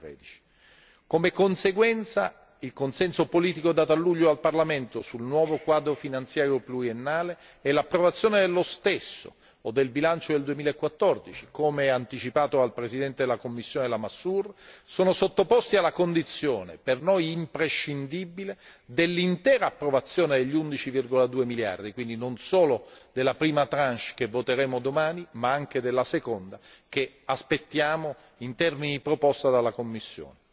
2013. Come conseguenza, il consenso politico dato a luglio al Parlamento sul nuovo quadro finanziario pluriennale e l'approvazione dello stesso o del bilancio del 2014, come anticipato dal presidente della commissione Lamassoure, sono sottoposti alla condizione per noi imprescindibile dell'intera approvazione degli 11,2 miliardi, quindi non solo la prima tranche che voteremo domani, ma anche la seconda, che aspettiamo nei termini proposti dalla Commissione.